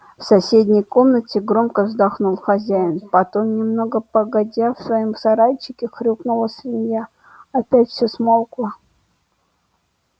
в соседней комнате громко вздохнул хозяин потом немного погодя в своём сарайчике хрюкнула свинья опять всё смолкло